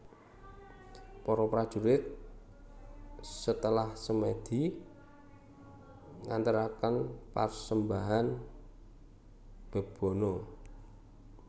Para prajurit setelah semedi mengantarkan persembahan Bebono